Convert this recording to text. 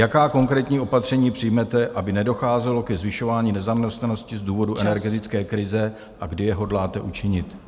Jaká konkrétní opatření přijmete, aby nedocházelo ke zvyšování nezaměstnanosti z důvodu energetické krize a kdy je hodláte učinit?